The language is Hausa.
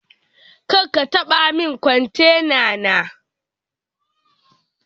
karkatabanin kontena ta